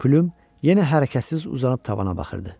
Plüm yenə hərəkətsiz uzanıb tavana baxırdı.